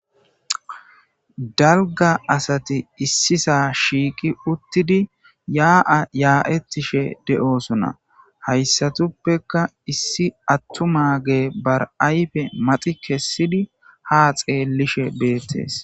Dalgga asati issisa shiiqi uttidi ya'a ya'eththishe de'osona. Hayssatuppekka issi attuma ge ba ayfe maxi kessidi ha xeellishe beettes.